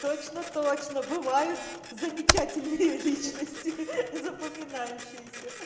точно-точно бывает замечательные личности ха ха запоминающиеся ха